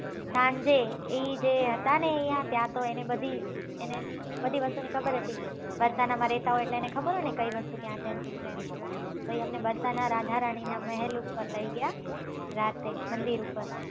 સાંજે એ જે હતા ને એને ત્યાં તો એને બધી વસ્તુ ખબર હતી બર્શાના માં રેહતા હોય એટલે એને ખબર હોય ને કઈ વસ્તુ ક્યાં છે ને શું છે ને તો ઈ અમને બર્શાના રાધા રાની ના મેહેલ ઉપર લઇ ગયા રાત્રે મંદિર ઉપર